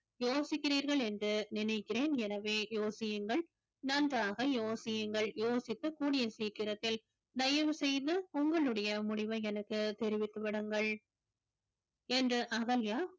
யோசிக்கிறீர்கள் என்று நினைக்கிறேன் எனவே யோசியுங்கள் நன்றாக யோசியுங்கள் யோசித்து கூடிய சீக்கிரத்தில் தயவு செய்து உங்களுடைய முடிவை எனக்கு தெரிவித்து விடுங்கள் என்று அகல்யா